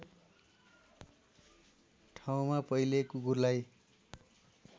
ठाउँमा पहिले कुकुरलाई